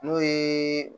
N'o ye